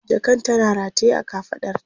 jakan tana rataye a kafaɗarta